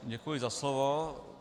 Děkuji za slovo.